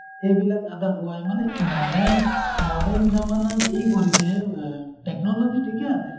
সেইবিলাক আধাৰ খুৱায় । মানে modern, modern foriegn:langhindiforiegn:lang এই কৰিছে এ technology ঠিকে আছে।